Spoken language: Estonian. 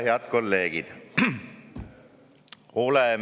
Head kolleegid!